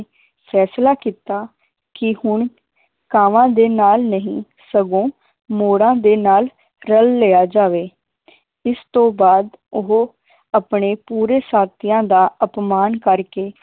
ਫੈਸਲਾ ਕੀਤਾ ਕਿ ਹੁਣ ਕਾਵਾਂ ਦੇ ਨਾਲ ਨਹੀਂ ਸਗੋਂ ਮੋਰਾਂ ਦੇ ਨਾਲ ਰੱਲ ਲਿਆ ਜਾਵੇ ਇਸ ਤੋਂ ਬਾਅਦ ਉਹ ਆਪਣੇ ਪੂਰੇ ਸਾਥੀਆਂ ਦਾ ਅਪਮਾਨ ਕਰਕੇ